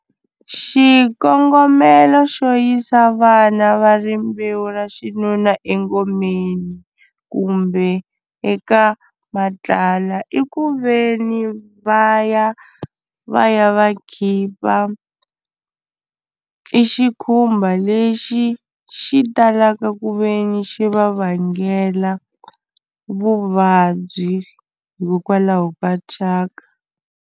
Xikongomelo xo yisa vana va rimbewu ra xinuna engomeni kumbe eka i ku ve ni va ya va ya va khipa i xikhumba lexi xi talaka ku ve ni xi va vangela vuvabyi hikokwalaho ka thyaka.